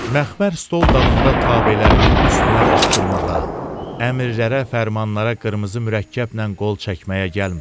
Məxmər stol dalında tabələrimin üstünə qışqırmağa, əmrlərə, fərmanlara qırmızı mürəkkəblə qol çəkməyə gəlmirəm.